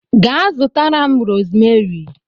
Ga zutara m rosmeri!